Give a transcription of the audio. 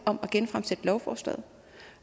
om at genfremsætte lovforslaget